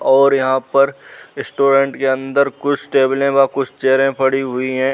और यहाँ पर रेस्टोरेंट अंदर कुछ टेबले व कुछ चेयरे पड़ी हुई हैं।